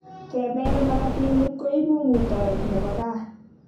Kepel makatinik koipu ngutoet nebo kaa